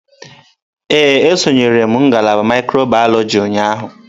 Ee, esonyere m ngalaba mikrobiyọlojị ụnyahụ.